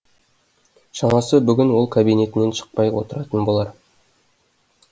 шамасы бүгін ол кабинетінен шықпай отыратын болар